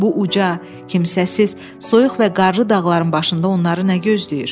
Bu uca, kimsəsiz, soyuq və qarlı dağların başında onları nə gözləyir?